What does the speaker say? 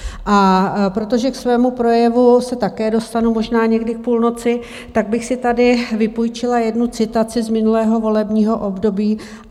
A protože k svému projevu se také dostanu možná někdy k půlnoci, tak bych si tady vypůjčila jednu citaci z minulého volebního období.